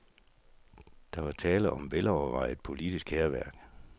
Der var tale om velovervejet politisk hærværk.